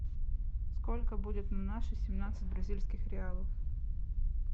сколько будет на наши семнадцать бразильских реалов